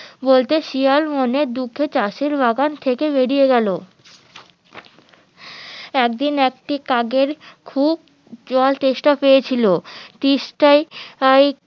বলতে শিয়াল মনের দুঃখে চাষের বাগান থেকে বেরিয়ে গেলো একদিন একদিন একটি কাকের খুব জল তেষ্টা পেয়েছিলো তিষ্টায়